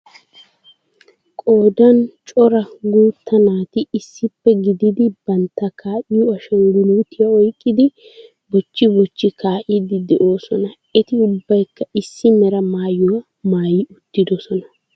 Qoodan coraguutta naati issippe gididi bantta kaa'yo ashangguluutiya oyqqidi bochchi bochchi kaa'iiddi de'oosona. Eti ubbaykka issi mera maayuwa maayi uttidosona.